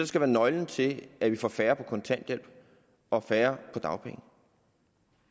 skal være nøglen til at vi får færre på kontanthjælp og færre på dagpenge